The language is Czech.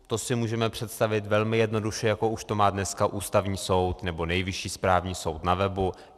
To si můžeme představit velmi jednoduše, jako už to má dneska Ústavní soud nebo Nejvyšší správní soud na webu.